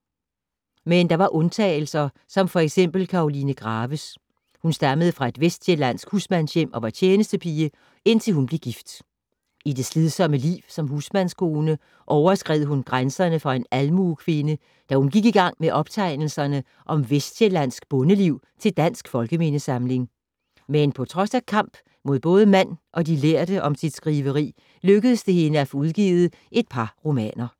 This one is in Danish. Men der var undtagelser som f.eks. Karoline Graves. Hun stammede fra et vestsjællandsk husmandshjem og var tjenestepige, indtil hun blev gift. I det slidsomme liv som husmandskone overskred hun grænserne for en almuekvinde, da hun gik i gang med optegnelserne om vestsjællandsk bondeliv til Dansk Folkemindesamling. Men på trods af kamp mod både mand og de lærde om sit skriveri, lykkedes det hende at få udgivet et par romaner.